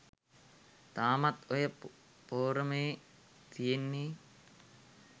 තාමත් ඔය පෝරමේ තියෙන්නේ